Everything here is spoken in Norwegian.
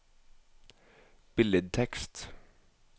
billedtekst